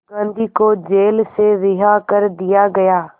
गांधी को जेल से रिहा कर दिया गया